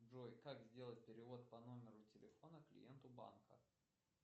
джой как сделать перевод по номеру телефона клиенту банка